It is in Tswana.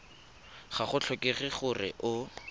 ga go tlhokege gore o